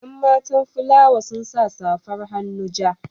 Yan matan fulawa sun sa safar hannu ja.